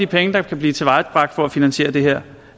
pengene kan blive tilvejebragt for at finansiere det her